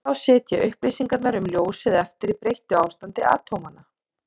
þá sitja upplýsingarnar um ljósið eftir í breyttu ástandi atómanna